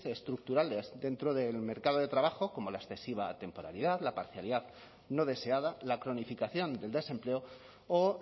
estructurales dentro del mercado de trabajo como la excesiva temporalidad la parcialidad no deseada la cronificación del desempleo o